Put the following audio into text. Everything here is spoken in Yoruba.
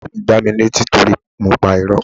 Ìyá mi gbá mi ní etí torí mo pa irọ́.